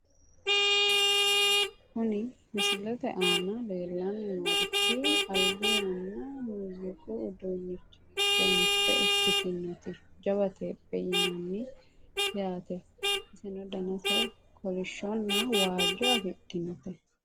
Kuni misilete aana leellanni noorichi albi yanna muuziiqu uduunnichi giddo mitte ikkitinoti jawa teepheeti yinannite yaate, iseno danase kolishshonna waajjo afidhinote.